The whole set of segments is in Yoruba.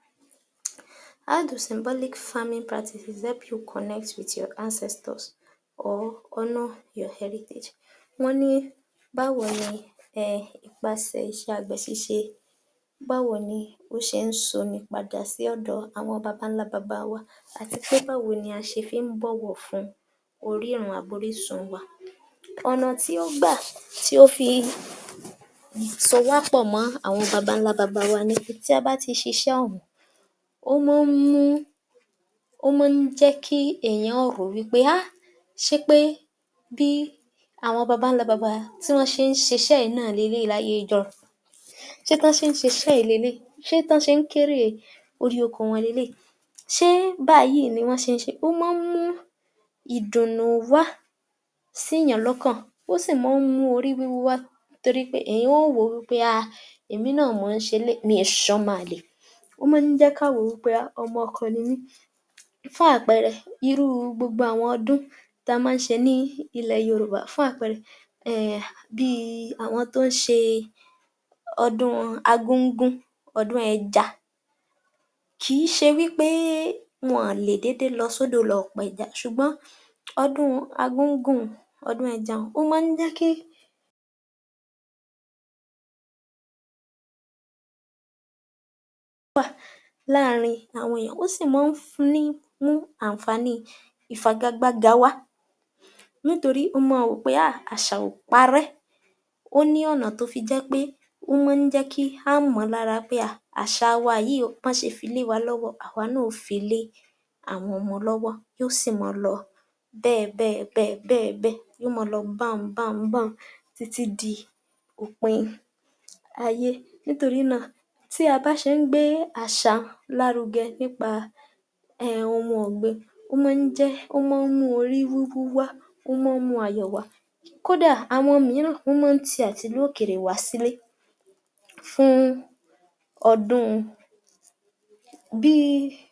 Báwo ni àwọn orílẹ̀ èdè aláwọ̀ dúdú ṣe le kọjú ìṣoro ìyípadà ojú ọjọ́, àti ipa rẹ̀ lórí iṣẹ́ àgbẹ̀ àti ìgbésí ayé. Ìyípadà ojú ọjọ́ ní ipa ńlá tó ń ṣe pàápàá jùlọ níbi iṣẹ́ àgbẹ̀ àti ojú ọjọ́, ṣùgbọ́n a lè gbé ìgbésè lọpọlọpọ láti fi dín kù ewu rẹ̀. Àkọ́kọ́, nǹkan ta lè ṣe ni pé kí a máa tọ́jú igi ati igbó, kí a máa kàn bẹ́ lu igbó kí a ge igi. Wọ́n máa sọ pé tí a bá gé igi kan, ka gbìn méjì rọ́pò ẹyọ̀kan tí a bá gé. Lóòótọ́, igi tí a bá gẹ́, a fẹ́ kó wúlò fún wa ni ṣùgbọ́n tí a bá gé igi, a gbúdọ̀ gbin ìmíì láti fi rọ́pò torí kò yẹ kí a fi gbogbo igbó, ká pa gbogbo igbó, kí igbó ma wà, ibití igbó bá wà, ibẹ̀ ni atẹ́gùn tútù máa ń fẹ́ wá, ó sì máa jẹ́ ìtura ara ní ipa ti ojú ọjọ́. Ẹ̀ẹ́kejì ní bẹ̀ ni, gbígba omi àti ìṣàkóso omi. Àwọn àgbè nílò omi púpọ̀ láti fi fún àwọn irúgbìn wọn l’oúnjẹ kó ba fi lè wù ú dáadáa. Kí òùngbẹ máa bá a gbẹ àwọn irúgbìn yìí àti àwọn ẹranko tí wọn dàjẹ̀. A tún ní ìkẹta níbẹ̀ ni ṣíṣe àmójútó àyíká, àyíká wa gbúdọ̀ mọ́ tónítóní ní gbogbo ìgbà torí pé níbi tí ó bá mọ́, ibè ni àìsàn ti máa ń jáde. A tún wá gbúdọ̀ lé kẹrin níbẹ̀, a tún gbúdọ̀ kọ́ àwọn ènìyàn ní ìmọ̀ àti ẹ̀kọ́ nípa ojú ọjọ́ pàápàá jùlọ àwọn tó jẹ́ pé wọn ṣe iṣẹ́ oníná tí wọ́n fi iná ṣíṣe, kí wọ́n ma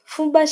máa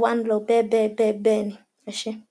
sún pápá lóko